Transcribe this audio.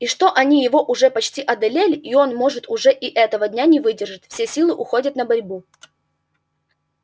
и что они его уже почти одолели и он может уже и этого дня не выдержит все силы уходят на борьбу